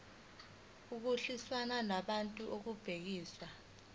ukulwiswana nodlame olubhekiswe